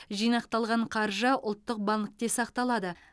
жинақталған қаржы ұлттық банкте сақталады